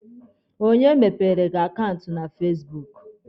Onye mepeere gị akaụntụ na fasibuuku?